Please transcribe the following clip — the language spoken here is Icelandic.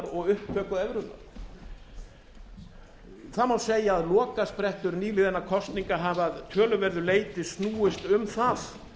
og upptöku evrunnar það má segja að lokasprettur nýliðinna kosninga hafi að töluverðu leyti snúist um það